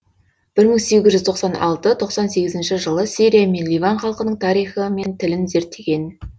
бір мың сегіз жүз тоқсан алты тоқсан сегізінші жылы сирия мен ливан халқының тарихы мен тілін зерттеген